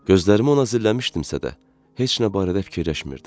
Gözlərimi ona zilləmişdimsə də, heç nə barədə fikirləşmirdim.